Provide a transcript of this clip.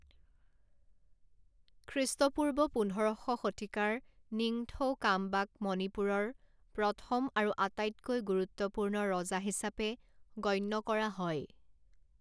খ্ৰীষ্টপূৰ্ব পোন্ধৰ শ শতিকাৰ নিংথৌ কাংবাক মণিপুৰৰ প্ৰথম আৰু আটাইতকৈ গুৰুত্বপূৰ্ণ ৰজা হিচাপে গণ্য কৰা হয়।